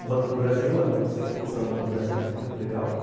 O Banco do Brasil, o Centro Cultural Banco do Brasil, que é muito legal.